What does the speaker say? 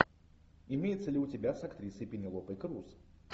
имеется ли у тебя с актрисой пенелопой круз